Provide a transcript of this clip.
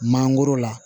Mangoro la